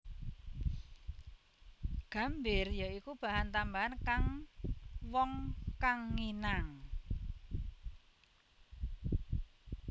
Gambir ya iku bahan tambahan kang wong kang nginang